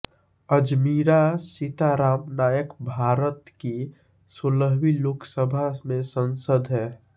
अज़मीरा सीताराम नायक भारत की सोलहवीं लोकसभा में सांसद हैं